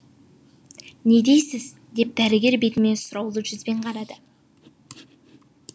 не дейсіз деп дәрігер бетіме сұраулы жүзбен қарады